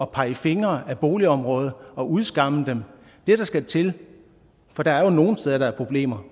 pege fingre af boligområder og udskamme dem det der skal til for der er jo nogle steder der er problemer